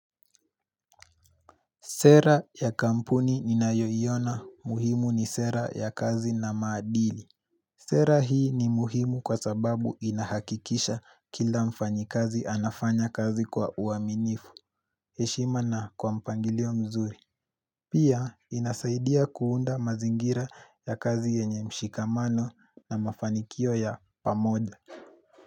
Sera ya kampuni ninayoiona muhimu ni sera ya kazi na maadili. Sera hii ni muhimu kwa sababu inahakikisha kila mfanyikazi anafanya kazi kwa uaminifu. Heshima na kwa mpangilio mzuri. Pia inasaidia kuunda mazingira ya kazi yenye mshikamano na mafanikio ya pamoja.